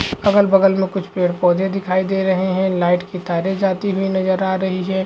अगल बगल में कुछ पेड़ पौधे दिखाई दे रहे है लाइट की तारे जाती हुई नजर आ रही है।